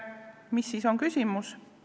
Milles on küsimus?